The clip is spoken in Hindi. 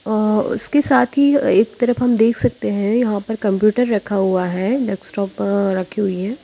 अ उसके साथ ही अ एक तरफ हम देख सकते हैं यहां पर कंप्यूटर रखा हुआ है डेस्कटॉप अ रखी हुई है।